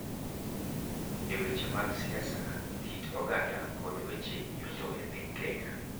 E weche mag siasa, kit oganda, kod weche yuto e piny Kenya.